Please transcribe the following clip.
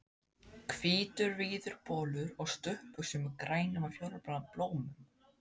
Hvítur, víður bolur og stuttbuxur með grænum og fjólubláum blómum.